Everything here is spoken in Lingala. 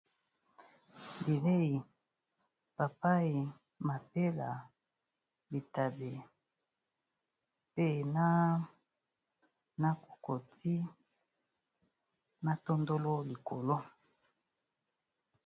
Bilei papai, mapela, bitabe, pe na cocoti, na tondolo likolo.